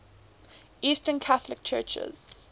eastern catholic churches